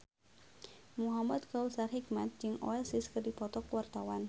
Muhamad Kautsar Hikmat jeung Oasis keur dipoto ku wartawan